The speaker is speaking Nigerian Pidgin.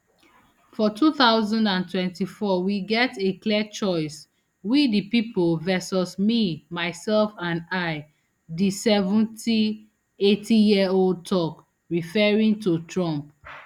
for two thousand and twenty-four we get a clear choice we di pipo versus me myself and i di seventy-eightyearold tok referring to trump